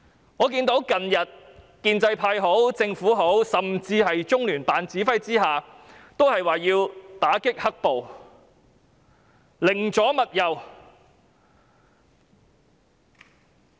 我最近看到無論是建制派、政府甚至是中聯辦，皆說要打擊"黑暴"，寧左勿右。